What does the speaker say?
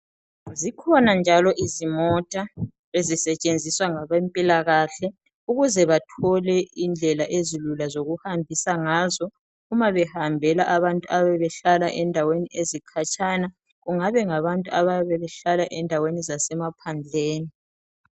Zikhona njalo izimota ezisetshenziswa ngabe mpilakahle ukuze bathole indlela ezilula zokuhambisa ngazo uma behambela abantu ababehlala endaweni ezikhatshana. Kungabe ngabantu ababe behlala endaweni zasemaphandleni.